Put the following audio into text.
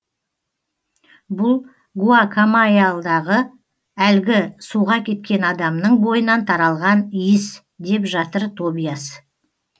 бұл гуакамайяльдағы әлгі суға кеткен адамның бойынан таралған иіс деп жатыр тобиас